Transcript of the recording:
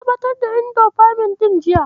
Na ɓatar da indofamin ɗin jiya.